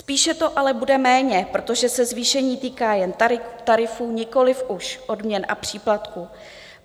Spíše to ale bude méně, protože se zvýšení týká jen tarifů, nikoliv už odměn a příplatků.